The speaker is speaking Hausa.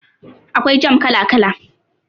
Akwai jam kala kala